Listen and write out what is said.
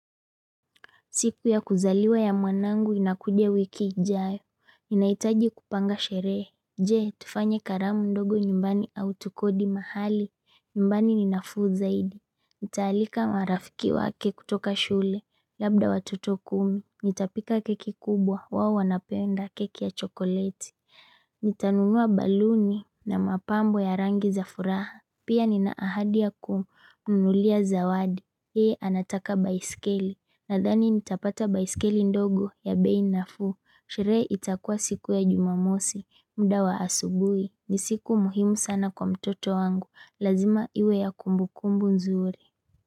Siku ya kuzaliwa ya mwanangu inakuja wiki ijayo. Ninaitaji kupanga sherehe. Je, tufanye karamu ndogo nyumbani au tukodi mahali. Nyumbani ni nafuu zaidi. Nitaalika marafiki wake kutoka shule. Labda watoto kumi. Nitapika keki kubwa. Wao wanapenda keki ya chokoleti. Nitanunua baluni na mapambo ya rangi za furaha. Pia nina ahadi ya kumnunulia zawadi. Yeye anataka baiskeli. Nadhani nitapata baiskeli ndogo ya bei nafuu. Sherehe itakua siku ya jumamosi. Mda wa asubui. Ni siku muhimu sana kwa mtoto wangu. Lazima iwe ya kumbukumbu nzuri.